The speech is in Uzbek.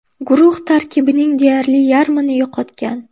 Guruh tarkibining deyarli yarmini yo‘qotgan.